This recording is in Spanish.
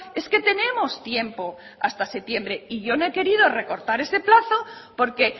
es que tenemos tiempo hasta septiembre y yo no he querido recortar ese plazo porque